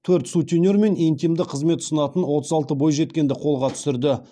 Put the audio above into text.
төрт сутенер мен интимді қызмет ұсынатын отыз алты бойжеткенді қолға түсірді